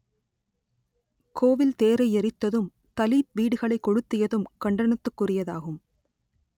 கோவில் தேரை எரித்ததும் தலித் வீடுகளைக் கொளுத்தியதும் கண்டனத்துக்குரியதாகும்